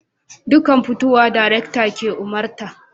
Dukkan fitowa darakta ke umarta